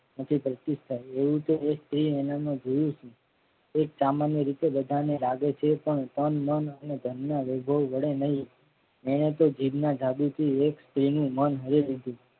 એવું તો એ સ્ત્રી એ નામનો જીવ છે. તે પ્રામાણીય રીતે બધાને લાગે છે પણ તન મન અને ધન ના વૈભવ વડે નઈ એને તો જીભના એક સ્ત્રી મન હરિ લીધું.